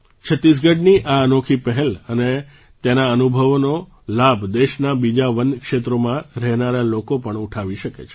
છત્તીસગઢની આ અનોખી પહેલ અને તેના અનુભવોનો લાભ દેશનાં બીજાં વન ક્ષેત્રોમાં રહેનારા લોકો પણ ઉઠાવી શકે છે